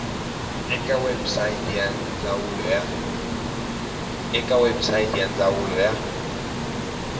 eka website ya ndzawulo ya